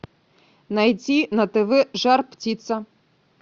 найти на тв жар птица